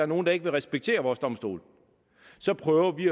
nogle der ikke vil respektere vores domstole prøver vi